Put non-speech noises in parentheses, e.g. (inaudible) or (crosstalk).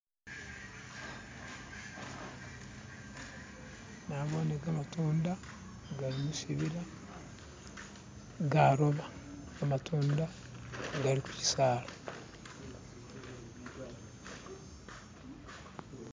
"(skip)" nabone gamatunda gali mushibila garoba gamatunda gali khushisala.